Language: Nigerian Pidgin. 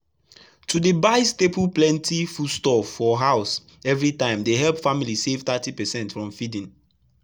to dey buy staple plenty foodstuffs for house eveytime dey help family save thirty percent from feeding.